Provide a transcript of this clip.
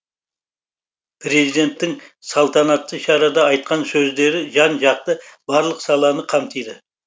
президенттің салтанатты шарада айтқан сөздері жан жақты барлық саланы қамтиды